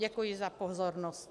Děkuji za pozornost.